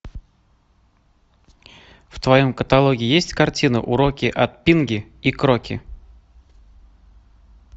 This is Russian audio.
в твоем каталоге есть картина уроки от пинги и кроки